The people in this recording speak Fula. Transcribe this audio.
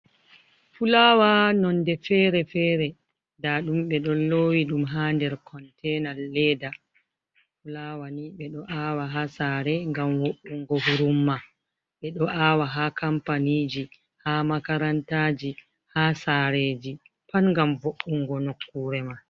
Fulawa nonde Fere-fere, nda ɗum ɓe ɗon lowi ɗum ha nder Konten leda. Fulawa ni ɓe ɗo awa ha Sare ngam wo’ungo hurumma. Ɓe ɗo awa ha Kampaniji ha Makarantaji ha Sareji Pat ngam wo’ungo Nokkure ma.